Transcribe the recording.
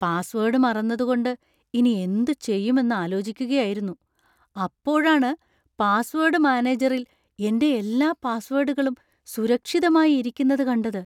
Password മറന്നതുകൊണ്ട് ഇനി എന്തുചെയ്യും എന്ന് ആലോചിക്കുകയായിരുന്നു; അപ്പോഴാണ് പാസ്വേഡ് മാനേജറിൽ എൻ്റെ എല്ലാ പാസ്വേഡുകളും സുരക്ഷിതമായി ഇരിക്കുന്നത് കണ്ടത്.